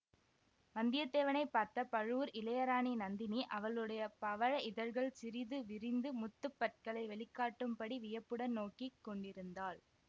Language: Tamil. வந்தியத்தேவனை பார்த்த பழுவூர் இளையராணி நந்தினி அவளுடைய பவழ இதழ்கள் சிறிது விரிந்து முத்துப் பற்களை வெளிக்காட்டும்படி வியப்புடன் நோக்கி கொண்டிருந்தாள்